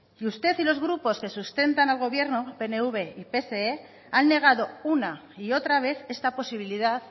y usted y los grupos que sustentan al gobierno pnv y pse han negado una y otra vez esta posibilidad